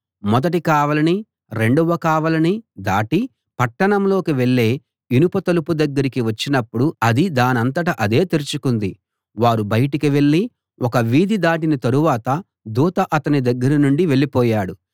మొదటి కావలినీ రెండవ కావలినీ దాటి పట్టణంలోకి వెళ్ళే ఇనుప తలుపు దగ్గరికి వచ్చినప్పుడు అది దానంతట అదే తెరుచుకుంది వారు బయటికి వెళ్ళి ఒక వీధి దాటిన తరువాత దూత అతని దగ్గర నుండి వెళ్ళిపోయాడు